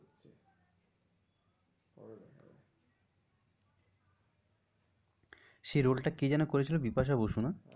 সেই role টা কে যেন বিপাশা বসু না?